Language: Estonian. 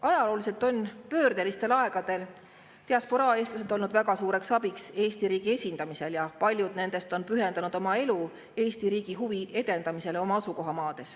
Ajalooliselt on pöördelistel aegadel diasporaa eestlased olnud väga suureks abiks Eesti riigi esindamisel ja paljud nendest on pühendanud oma elu Eesti riigi huvi edendamisele oma asukohamaal.